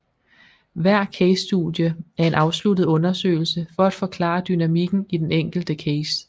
Hver casestudie er en afsluttet undersøgelse for at forklare dynamikken i den enkelte case